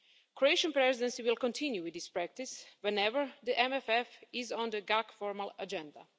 The Croatian Presidency will continue with this practice whenever the MFF is on the GAC formal agenda.